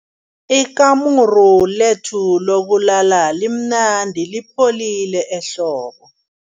Ikamuru lethu lokulala limnandi lipholile ehlobo.